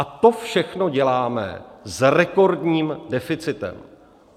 A to všechno děláme s rekordním deficitem.